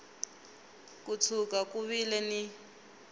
ko tshuka ku vile ni